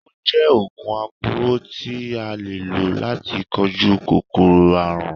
Ó jẹ oògùn aporó tí a lò láti kojú kòkòrò àrùn.